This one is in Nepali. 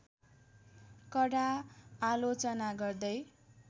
कडा आलोचना गर्दै